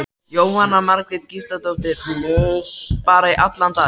Jóhanna Margrét Gísladóttir: Bara í allan dag?